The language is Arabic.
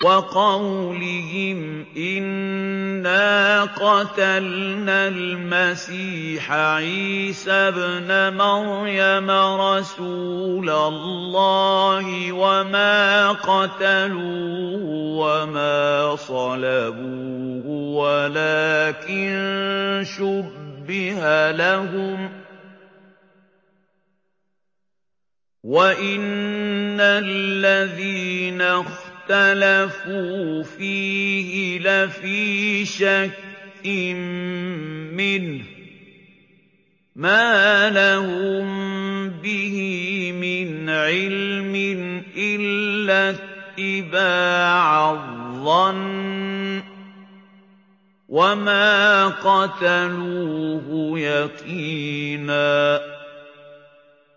وَقَوْلِهِمْ إِنَّا قَتَلْنَا الْمَسِيحَ عِيسَى ابْنَ مَرْيَمَ رَسُولَ اللَّهِ وَمَا قَتَلُوهُ وَمَا صَلَبُوهُ وَلَٰكِن شُبِّهَ لَهُمْ ۚ وَإِنَّ الَّذِينَ اخْتَلَفُوا فِيهِ لَفِي شَكٍّ مِّنْهُ ۚ مَا لَهُم بِهِ مِنْ عِلْمٍ إِلَّا اتِّبَاعَ الظَّنِّ ۚ وَمَا قَتَلُوهُ يَقِينًا